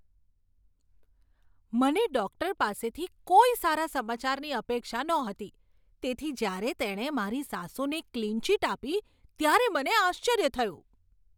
મને ડૉક્ટર પાસેથી કોઈ સારા સમાચારની અપેક્ષા નહોતી તેથી જ્યારે તેણે મારી સાસુને ક્લીન ચિટ આપી ત્યારે મને આશ્ચર્ય થયું.